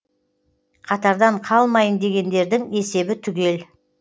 қатардан қалмайын дегендердің есебі түгел